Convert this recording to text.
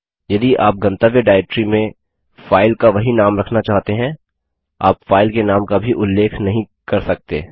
यदि आप गंतव्य डाइरेक्टरी में फाइल का वही नाम रखना चाहते हैं आप फाइल के नाम का भी उल्लेख नहीं कर सकते